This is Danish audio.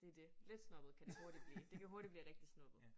Det det. Lidt snobbet kan det hurtigt blive. Det kan hurtigt blive rigtig snobbet